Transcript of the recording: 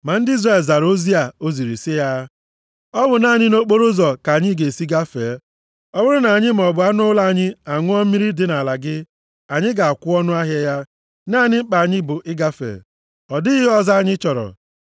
Ma ndị Izrel zara ozi o ziri sị ya, “Ọ bụ naanị nʼokporoụzọ ka anyị ga-esi gafee. Ọ bụrụ na anyị maọbụ anụ ụlọ anyị a ṅụọ mmiri dị nʼala gị, anyị ga-akwụ ọnụahịa ya. Naanị mkpa anyị bụ ịgafe. Ọ dịghị ihe ọzọ anyị chọrọ.”